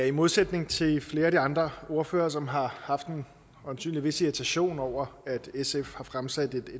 i modsætning til flere andre ordførere som øjensynligt har haft en vis irritation over at sf har fremsat et